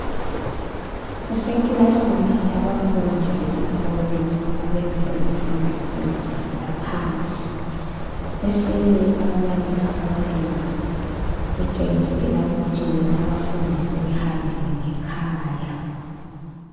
Kusekilasini yabafundi besikolo abenza izifundo zezinga laphansi. Kusele ababalisi ababili, kutshengisela ukuthi bona abafundi sebehambile ngekhaya.